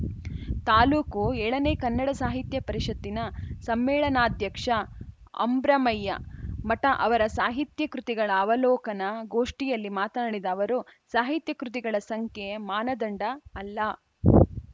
ತಾಲೂಕು ಏಳನೇ ಕನ್ನಡ ಸಾಹಿತ್ಯ ಪರಿಷತ್ತಿನ ಸಮ್ಮೇಳನಾಧ್ಯಕ್ಷ ಅಂಬ್ರಮಯ್ಯ ಮಠ ಅವರ ಸಾಹಿತ್ಯ ಕೃತಿಗಳ ಅವಲೋಕನ ಗೋಷ್ಠಿಯಲ್ಲಿ ಮಾತನಾಡಿದ ಅವರು ಸಾಹಿತ್ಯ ಕೃತಿಗಳ ಸಂಖ್ಯೆ ಮಾನದಂಡ ಅಲ್ಲ